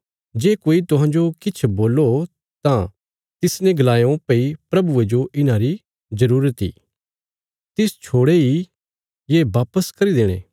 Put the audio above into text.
जे कोई तुहांजो किछ बोल्लो तां तिसने गलायों भई प्रभुये जो इन्हांरी जरूरत इ तिस छोड़े इ ये वापस भेजी देणे